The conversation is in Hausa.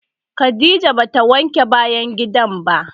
Khadijah ba ta wanke bayan gidan ba.